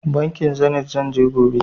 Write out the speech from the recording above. Bankin Zenit zan je gobe.